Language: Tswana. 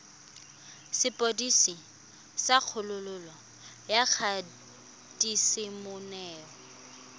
sepodisi sa kgololo ya kgatisomenwa